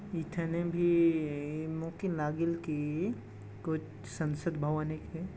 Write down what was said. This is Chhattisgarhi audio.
इथेने भी मोथ नागिल की कुछ संसद भवन एक है।